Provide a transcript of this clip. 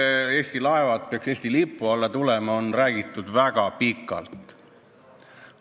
Seda, et Eesti laevad peaks Eesti lipu alla tulema, on räägitud väga pikalt.